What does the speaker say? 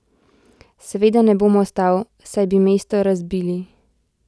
Seveda ne bom ostal, saj bi mesto razbili!